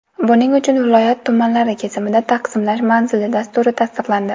Buning uchun viloyat tumanlari kesimida taqsimlash manzilli dasturi tasdiqlandi.